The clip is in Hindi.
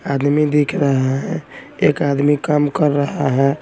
आदमी दिख रहा हैं एक आदमी काम कर रहा हैं।